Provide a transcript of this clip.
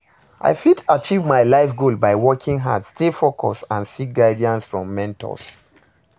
i fit achieve my life goal by working hard, stay focused and seek guidance from mentors.